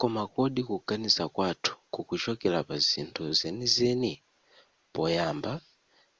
koma kodi kuganiza kwathu kukuchokera pa zinthu zenizeni poyamba